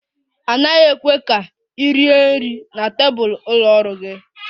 A naghị ekwe ka ị rie nri na tebụl ụlọ ọrụ gị